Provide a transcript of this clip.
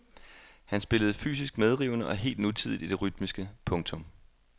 Han spillede fysisk medrivende og helt nutidigt i det rytmiske. punktum